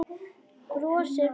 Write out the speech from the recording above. Brosir breitt.